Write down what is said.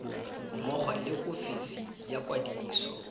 mmogo le ofisi ya kwadiso